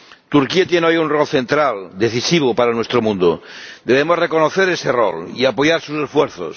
Turquía tiene hoy un rol central, decisivo para nuestro mundo, y debemos reconocer ese rol y apoyar sus esfuerzos.